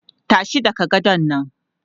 Tashi daga gadon nan!